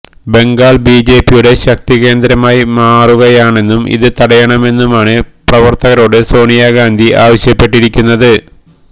ബംഗാള് ബിജെപിയുടെ ശക്തി കേന്ദ്രമായി മാറുകയാണെന്നും ഇത് തടയണമെന്നുമാണ് പ്രവര്ത്തകരോട് സോണിയ ഗാന്ധി ആവശ്യപ്പെട്ടിരിക്കുന്നത്